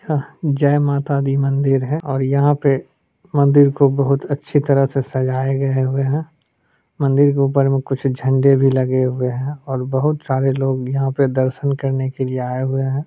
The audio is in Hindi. यह जय माता दी मंदिर है और यहाँ पे मंदिर को बहुत अच्छी तरह से सजाये गये हुए हैं मंदिर के ऊपर में कुछ झंडे भी लगे हुए हैं और बहुत सारे लोग यहाँ पे दर्शन करने के लिए आए हुए हैं।